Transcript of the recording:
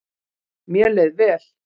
Mér leið vel.